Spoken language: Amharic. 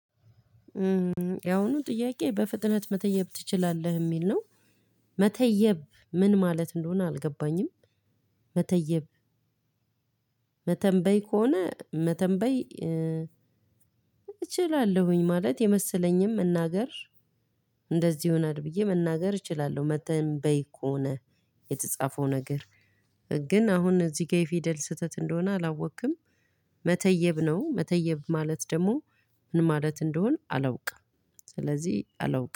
ያሁኑ ጥያቄ በፍጥነት መተየብ ትችላለህ የሚል ነው መተየብ ምን ማለት እንደሆነ አልገባኝም። መተየብ መተንበይ ከሆነ መተንበይ እችላለሁኝ ማለት የመሰለኝን መናገር። እንደዚህ ሆናል ብዬ መናገር እችላለሁ መጥተንበይ ከሆነ የተጻፈው ነገር ግን አሁን እዚህ ጋር የፊደል ስህተት እንደሆነ አላወክም። መተየብ ነው መተየብ ማለት ደግሞ ምን ማለት እንደሆነ አላውቅም። ስለዚህ አላውቅም